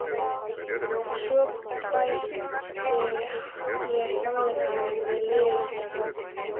Og svo bæti ég sannleikanum við lygina.